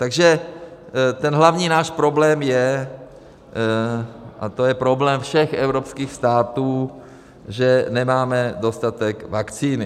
Takže ten hlavní náš problém je, a to je problém všech evropských států, že nemáme dostatek vakcíny.